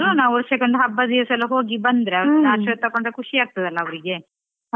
ಹ ಹೌದು ಹೌದು ಆದ್ರೂ ನಾವು ವರ್ಷಕ್ಕೆ ಒಂದು ಹಬ್ಬ ದಿವಸೆಲ್ಲಾ ಹೋಗಿ ಬಂದ್ರೆ ಅವರತ್ರ ಆಶೀರ್ವಾದ ತಕ್ಕೊಂಡ್ರೆ ಖುಷಿ ಆಗ್ತದೆ ಅಲ್ಲಾ ಅವ್ರಿಗೆ.